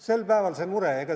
Sel päeval see mure.